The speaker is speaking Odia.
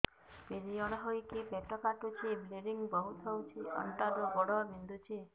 ପିରିଅଡ଼ ହୋଇକି ପେଟ କାଟୁଛି ବ୍ଲିଡ଼ିଙ୍ଗ ବହୁତ ହଉଚି ଅଣ୍ଟା ରୁ ଗୋଡ ବିନ୍ଧୁଛି